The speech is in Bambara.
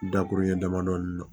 Dakurunin damadɔɔni na